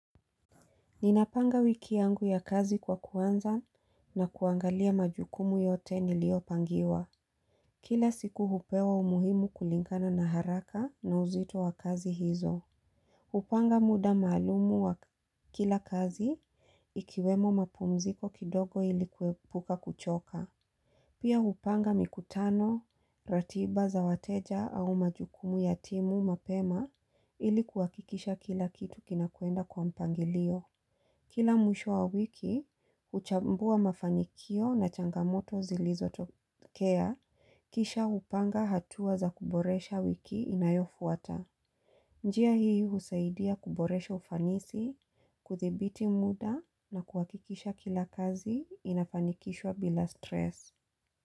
Ninapanga wiki yangu ya kazi kwa kuanza na kuangalia majukumu yote nilio pangiwa. Kila siku hupewa umuhimu kulingana na haraka na uzito wa kazi hizo. Hupanga muda maalumu wa kila kazi ikiwemo mapumziko kidogo ilikuepuka kuchoka. Pia hupanga mikutano, ratiba za wateja au majukumu yatimu mapema, ili kuhakikisha kila kitu kinakwenda kwa mpangilio. Kila mwisho wa wiki, uchambua mafanikio na changamoto zilizo tokea, kisha hupanga hatua za kuboresha wiki inayofuata. Njia hii husaidia kuboresha ufanisi, kuthibiti muda na kuhakikisha kila kazi inafanikishwa bila stress.